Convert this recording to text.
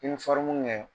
I bɛ kɛ